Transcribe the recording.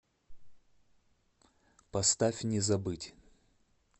поставь не забыть